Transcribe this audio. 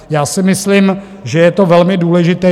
Já si myslím, že je to velmi důležité.